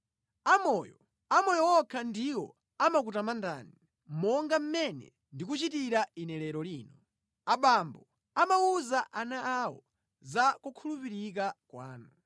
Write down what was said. Amoyo, amoyo okha ndiwo amakutamandani, monga mmene ndikuchitira ine lero lino; abambo amawuza ana awo za kukhulupirika kwanu.